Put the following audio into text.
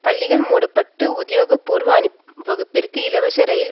பள்ளிகள் மூடப்பட்டு உத்தியோகபூர்வ அணிவகுப்பிற்கு இலவச இரயில்